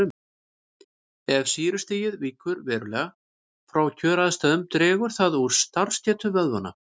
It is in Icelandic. Ef sýrustigið víkur verulega frá kjöraðstæðum dregur það úr starfsgetu vöðvanna.